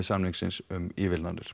samningsins um